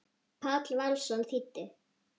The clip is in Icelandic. Páll Valsson þýddi.